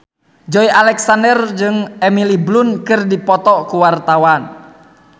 Joey Alexander jeung Emily Blunt keur dipoto ku wartawan